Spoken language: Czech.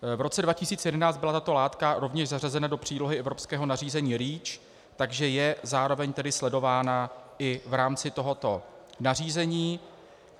V roce 2011 byla tato látka rovněž zařazena do přílohy evropského nařízení REACH, takže je zároveň tedy sledována i v rámci tohoto nařízení.